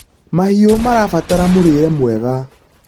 mahiũ marabatara mũrĩre mwega